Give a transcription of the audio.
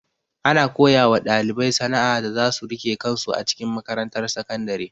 Ana koyawa ɗalibai sana'a da zasu rike kansu a cikin makarantar sakandare.